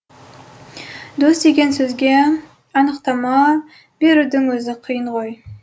дос деген сөзге анықтама берудің өзі қиын ғой